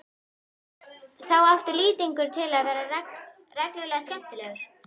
Þá átti Lýtingur til að vera reglulega skemmtilegur.